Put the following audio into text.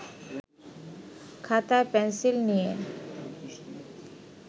খাতা-পেনসিল নিয়ে